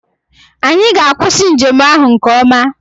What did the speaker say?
Anyị ga-akwụsị njem ahụ nke ọma.